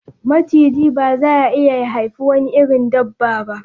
Machiji ba za ya iya ya haifi wani irin dabba ba.